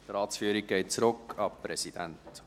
Die Ratsführung geht zurück an den Präsidenten.